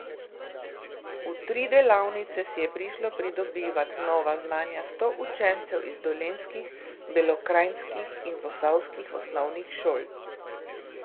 V tri delavnice si je prišlo pridobivat nova znanja sto učencev iz dolenjskih, belokranjskih in posavskih osnovnih šol.